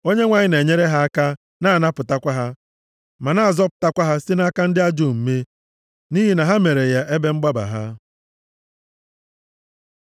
Onyenwe anyị na-enyere ha aka, na-anapụtakwa ha ma na-azọpụtakwa ha site nʼaka ndị ajọ omume, nʼihi na ha mere ya ebe mgbaba ha.